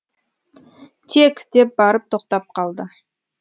тек деп барып тоқтап қалды